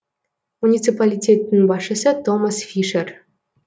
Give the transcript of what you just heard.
муниципалитеттің басшысы томас фишер